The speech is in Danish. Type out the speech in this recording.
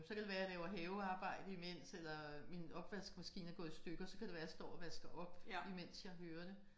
Så kan det være at jeg laver havearbejde imens eller min opvaskemaskine er i stykker så kan det være jeg står og vasker på imens jeg hører det